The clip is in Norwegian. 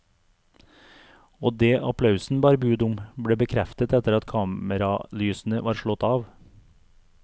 Og det applausen bar bud om, ble bekreftet etter at kameralysene var slått av.